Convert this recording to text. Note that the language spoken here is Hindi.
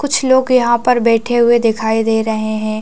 कुछ लोग पर बैठे हुए दिखाई दे रहे हैं ।